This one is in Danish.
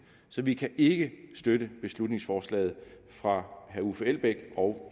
så vi kan ikke støtte beslutningsforslaget fra herre uffe elbæk og